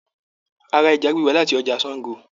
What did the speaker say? A ra ẹja gbígbẹ láti ọjà Sàngó.